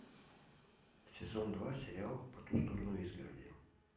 сезон два сериал по ту сторону изгороди